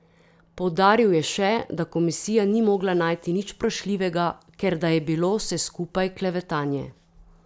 Poudaril je še, da komisija ni mogla najti nič vprašljivega, ker da je bilo vse skupaj klevetanje.